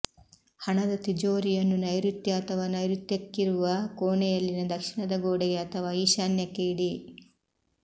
ಹಣದ ತಿಜೋರಿಯನ್ನು ನೈರುತ್ಯ ಅಥವಾ ನೈರುತ್ಯಕ್ಕಿರುವ ಕೋಣೆಯಲ್ಲಿನ ದಕ್ಷಿಣದ ಗೋಡೆಗೆ ಅಥವಾ ಈಶಾನ್ಯಕ್ಕೆ ಇಡಿ